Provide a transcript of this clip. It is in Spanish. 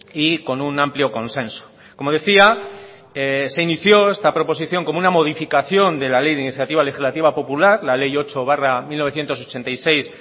y con un amplio consenso como decía se inició esta proposición como una modificación de la ley de iniciativa legislativa popular la ley ocho barra mil novecientos ochenta y seis